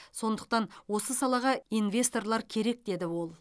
сондықтан осы салаға инвесторлар керек деді ол